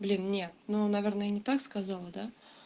блин нет ну наверное не так сказала да